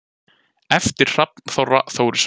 eftir hrafn þorra þórisson